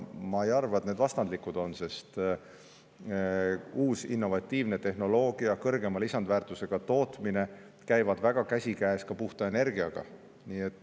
Ma ei arva, et need omavahel vastandlikud on, sest uus innovatiivne tehnoloogia ja kõrgema lisandväärtusega tootmine käivad väga käsikäes ka puhta energiaga.